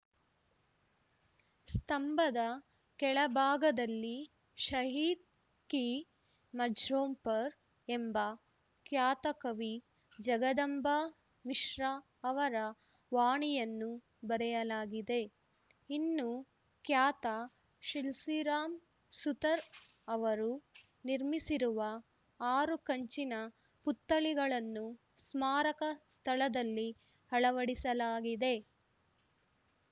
ಸ್ತಂಭದ ಕೆಳ ಭಾಗದಲ್ಲಿ ಶಹೀದ್‌ ಕಿ ಮಜ್ರೋಂ ಪರ್‌ ಎಂಬ ಖ್ಯಾತ ಕವಿ ಜಗದಂಬಾ ಮಿಶ್ರಾ ಅವರ ವಾಣಿಯನ್ನು ಬರೆಯಲಾಗಿದೆ ಇನ್ನು ಖ್ಯಾತ ಶಿಲ್ಪಿ ರಾಮ್‌ ಸುತರ್‌ ಅವರು ನಿರ್ಮಿಸಿರುವ ಆರು ಕಂಚಿನ ಪುತ್ಥಳಿಗಳನ್ನು ಸ್ಮಾರಕ ಸ್ಥಳದಲ್ಲಿ ಅಳವಡಿಸಲಾಗಿದೆ